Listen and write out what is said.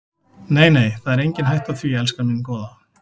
Nei, nei, það er engin hætta á því, elskan mín góða.